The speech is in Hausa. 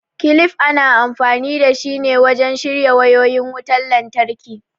kilif ana amfani dashi ne wajen shirya wayoyin wutan lantraki